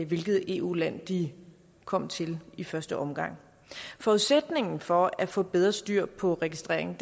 hvilket eu land de kom til i første omgang forudsætningen for at få bedre styr på registreringen